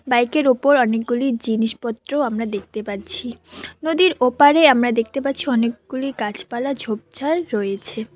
Bike -এর উপর অনেকগুলি জিনিসপত্র আমরা দেখতে পাচ্ছি নদীর ওপারে আমরা দেখতে পাচ্ছি অনেকগুলি গাছপালা ঝোপঝাড় রয়েছে।